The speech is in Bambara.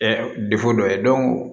dɔ ye